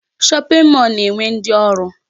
Shopping mall na-enwe ndị ọrụ.